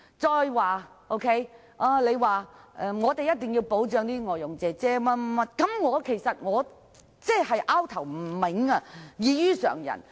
再者，他說我們一定要保障外傭，但我不明白為何他的想法異於常人？